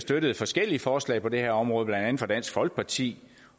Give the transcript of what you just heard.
støttet forskellige forslag på det her område blandt andet fra dansk folkeparti